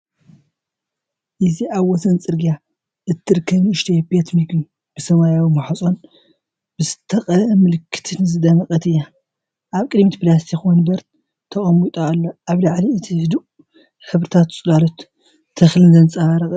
እዚ ኣብ ወሰን ጽርግያ እትርከብ ንእሽቶ ቤት መግቢ ብሰማያዊ ማዕጾን ብዝተቐብአ ምልክትን ዝደመቀት እያ። ኣብ ቅድሚት ፕላስቲክ መንበር ተቐሚጡ ኣሎ፣ ኣብ ልዕሊ እቲ ህዱእ ሕብርታት ጽላሎት ተክልን ዘንፀባርቅ እዩ።